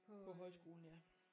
På højskolen ja